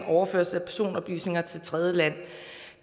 overførsel af personoplysninger til tredjeland